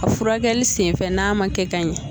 A furakɛli sen fɛ n'a ma kɛ ka ɲan.